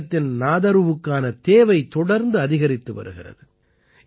கஷ்மீரத்தின் நாதரூவுக்கான தேவை தொடர்ந்து அதிகரித்து வருகிறது